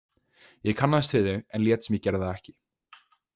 Ég kannaðist við þau, en lét sem ég gerði það ekki.